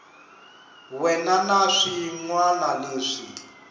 wana na swin wana leswi